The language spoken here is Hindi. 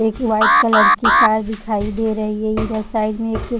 एक व्हाइट कलर की कार दिखाई दे रही है इधर साइड में एक --